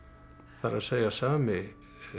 það er sami